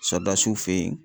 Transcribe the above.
Sɔdasiw fen yen